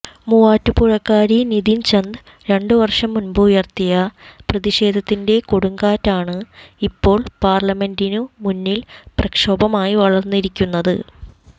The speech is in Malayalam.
മൂവാറ്റുപുഴക്കാരി നിധിൻ ചന്ദ് രണ്ടു വർഷം മുൻപ് ഉയർത്തിയ പ്രതിഷേധത്തിന്റെ കൊടുംകാറ്റാണ് ഇപ്പോൾ പാർലിമെന്റിനു മുന്നിൽ പ്രക്ഷോഭമായി വളർന്നിരിക്കുന്നത്